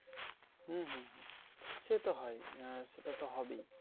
হম হম হম সে তো হয় ই আর সেটা তো হবেই